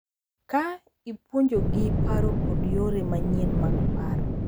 Ka ipuonjogi paro kod yore manyien mag paro.